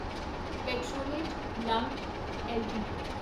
ਪੈਟਰੋਨੇਟ ਲੰਗ ਐੱਲਟੀਡੀ